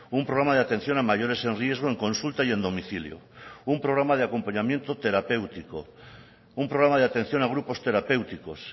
un programa de atención a mayores en riesgo en consulta y en domicilio un programa de acompañamiento terapéutico un programa de atención a grupos terapéuticos